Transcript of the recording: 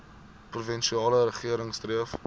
provinsiale regering streef